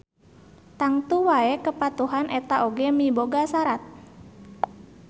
Tangtu wae kepatuhan eta oge miboga sarat